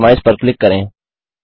customise पर click करें